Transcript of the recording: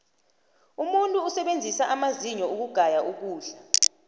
umuntu usebenzisa amazinyo ukugaya ukudla